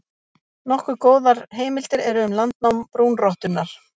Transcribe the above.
Nokkuð góðar heimildir eru um landnám brúnrottunnar.